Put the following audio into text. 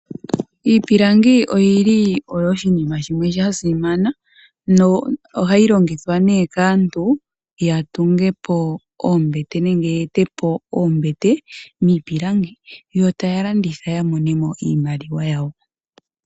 Iipilangi oyili oyo oshinima shimwe sha simana nohayi longithwa nee kaantu ya tunge po oombete nenge ye ete po oombete miipilangi yo taya landitha ya mone mo iimaliwa yawo.